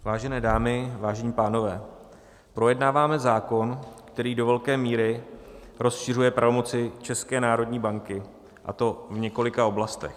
Vážené dámy, vážení pánové, projednáváme zákon, který do velké míry rozšiřuje pravomoci České národní banky, a to v několika oblastech.